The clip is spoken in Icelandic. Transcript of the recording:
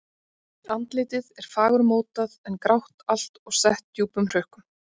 Andlitið er fagurmótað en grátt allt og sett djúpum hrukkum.